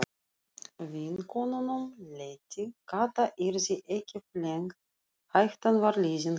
Vinkonunum létti, Kata yrði ekki flengd, hættan var liðin hjá.